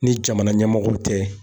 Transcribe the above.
Ni jamana ɲɛmɔgɔw tɛ